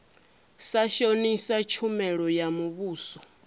sa shonisa tshumelo ya muvhuso